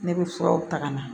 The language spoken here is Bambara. Ne bɛ furaw ta ka na